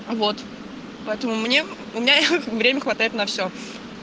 вот поэтому мне у меня время хватает на всё